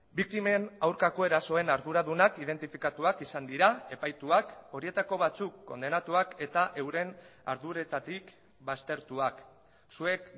biktimen aurkako erasoen arduradunak identifikatuak izan dira epaituak horietako batzuk kondenatuak eta euren arduretatik baztertuak zuek